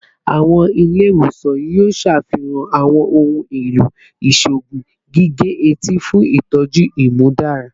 Awọn ile-iwosan yoo ṣafihan awọn ohun elo iṣoogun gige-eti fun itọju imudara